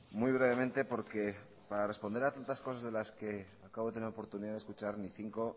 muy brevemente porque para responder a tantas cosas de las que acabo de tener oportunidad de escuchar ni cinco